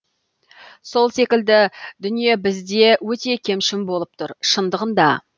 сол секілді дүние бізде өте кемшін болып тұр шындығында